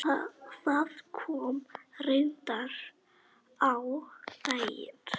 Það kom reyndar á daginn.